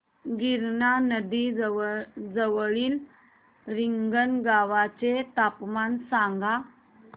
गिरणा नदी जवळील रिंगणगावाचे तापमान सांगा